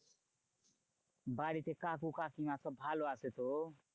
বাড়িতে কাকু কাকিমা সব ভালো আছে তো?